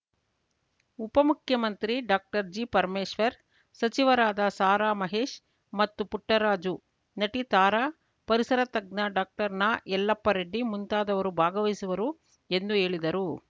ಉಪಮುಖ್ಯಮಂತ್ರಿ ಡಾಕ್ಟರ್ಜಿ ಪರಮೇಶ್ವರ್‌ ಸಚಿವರಾದ ಸಾರಾಮಹೇಶ್‌ ಮತ್ತು ಪುಟ್ಟರಾಜು ನಟಿ ತಾರಾ ಪರಿಸರ ತಜ್ಞ ಡಾಕ್ಟರ್ನಯಲ್ಲಪ್ಪರೆಡ್ಡಿ ಮುಂತಾದವರು ಭಾಗವಹಿಸುವರು ಎಂದು ಹೇಳಿದರು